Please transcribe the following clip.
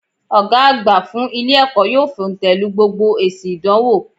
Ògá àgbà fún Ilé èkó yóò fòntèlu gbogbo èsi ìdánwò